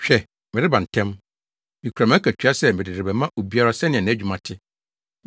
Hwɛ! Mereba ntɛm! Mikura mʼakatua sɛ mede rebɛma obiara sɛnea nʼadwumayɛ te.